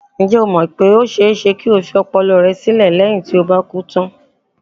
Ǹjẹ́ o mọ̀ pé ó ṣe-é-ṣe kí o fi ọpọlọ rẹ sílẹ̀ léyìn tí o bá kú tán?